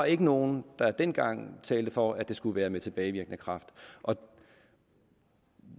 ikke nogen dengang der talte for at det skulle være med tilbagevirkende kraft og